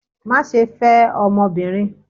Maṣe fẹ ọmọbirin!